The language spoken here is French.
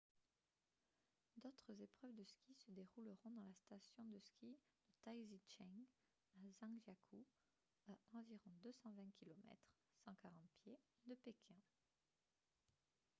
d'autres épreuves de ski se dérouleront dans la station de ski de taizicheng à zhangjiakou à environ 220 km 140 pieds de pékin